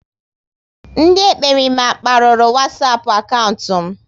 Ndị ekperima kparuru Wasapu akaụntụ m